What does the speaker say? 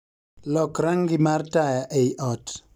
Lok rangi mar taya ei ot